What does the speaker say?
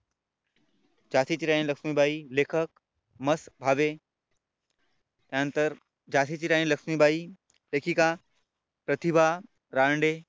झाशीची राणी लक्ष्मीबाई लेखक मत भावे यानंतर झाशीची राणी लक्ष्मीबाई लेखिका प्रतिभा रांडे